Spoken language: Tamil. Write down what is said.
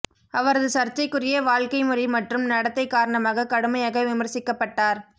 அவரது சர்ச்சைக்குரிய வாழ்க்கை முறை மற்றும் நடத்தை காரணமாகக் கடுமையாக விமர்சிக்கப்பட்டார்